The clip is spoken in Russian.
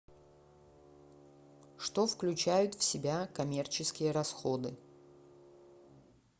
что включают в себя коммерческие расходы